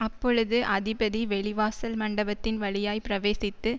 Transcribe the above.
அப்பொழுது அதிபதி வெளிவாசல் மண்டபத்தின் வழியாய்ப் பிரவேசித்து